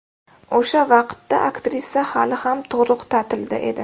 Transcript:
O‘sha vaqtda aktrisa hali ham tug‘ruq ta’tilida edi.